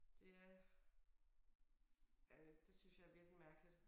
Det er øh det synes jeg er virkelig mærkeligt